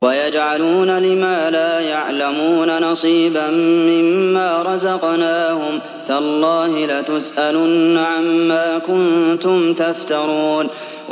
وَيَجْعَلُونَ لِمَا لَا يَعْلَمُونَ نَصِيبًا مِّمَّا رَزَقْنَاهُمْ ۗ تَاللَّهِ لَتُسْأَلُنَّ عَمَّا كُنتُمْ تَفْتَرُونَ